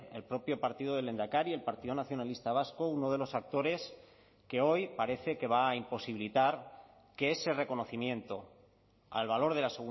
el propio partido del lehendakari el partido nacionalista vasco uno de los actores que hoy parece que va a imposibilitar que ese reconocimiento al valor de la